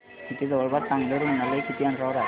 इथे जवळपास चांगलं रुग्णालय किती अंतरावर आहे